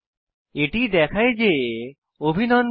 এটি দেখায় যে অভিনন্দন